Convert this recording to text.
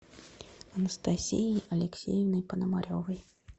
анастасией алексеевной пономаревой